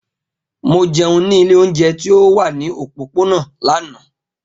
Mo jẹun ni ile ounjẹ ti o wa ni opopona lana.